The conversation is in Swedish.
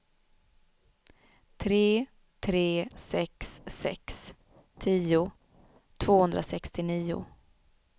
tre tre sex sex tio tvåhundrasextionio